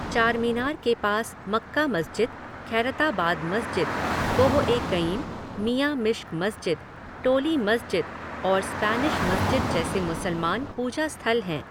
चारमीनार के पास मक्का मस्जिद, खैरताबाद मस्जिद, कोह ए कईम, मियां मिश्क मस्जिद, टोली मस्जिद और स्पैनिश मस्जिद जैसे मुसलमान पूजा स्थल हैं।